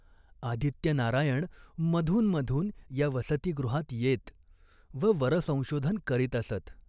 आदित्यनारायण मधून मधून या वसतिगृहात येत व वरसंशोधन करीत असत.